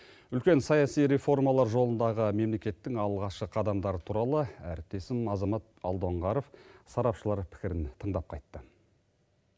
үлкен саяси реформалар жолындағы мемлекеттің алғашқы қадамдары туралы әріптесім азамат алдоңғаров сарапшылар пікірін тыңдап қайтты